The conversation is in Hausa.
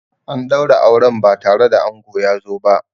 An daura auren ba tare da ango ya zo ba.